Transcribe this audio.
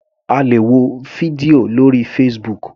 A lè wo fídíò lórí Facebook.